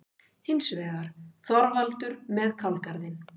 Hins vegar: Þorvaldur með kálgarðinn.